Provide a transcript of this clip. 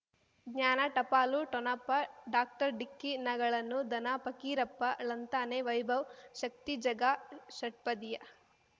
ಜ್ಞಾನ ಟಪಾಲು ಠೊಣಪ ಡಾಕ್ಟರ್ ಢಿಕ್ಕಿ ಣಗಳನು ಧನ ಫಕೀರಪ್ಪ ಳಂತಾನೆ ವೈಭವ್ ಶಕ್ತಿ ಝಗಾ ಷಟ್ಪದಿಯ